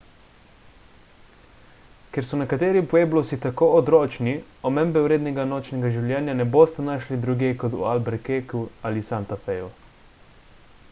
ker so nekateri pueblosi tako odročni omembe vrednega nočnega življenja ne boste našli drugje kot v albuquerqueju ali santa feju